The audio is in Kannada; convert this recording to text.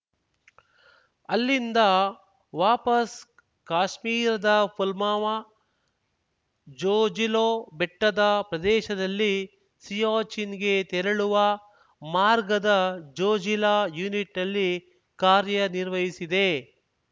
ಅಲ್ಲಿಂದ ವಾಪಸ್‌ ಕಾಶ್ಮೀರದ ಪುಲ್ವಾಮ ಜೊಜಿಲೋ ಬೆಟ್ಟದ ಪ್ರದೇಶದಲ್ಲಿ ಸಿಯಾಚಿನ್‌ಗೆ ತೆರಳುವ ಮಾರ್ಗದ ಜೊಜಿಲಾ ಯುನಿಟ್‌ನಲ್ಲಿ ಕಾರ್ಯನಿರ್ವಹಿಸಿದೆ